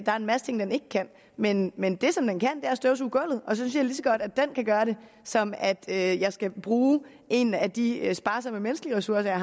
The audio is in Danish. er en masse ting den ikke kan men men det den kan er at støvsuge gulvet og så synes så godt den kan gøre det som at jeg skal bruge en af de sparsomme menneskelige ressourcer